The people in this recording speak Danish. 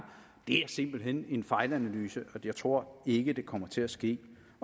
det er simpelt hen en fejlanalyse og jeg tror ikke det kommer til at ske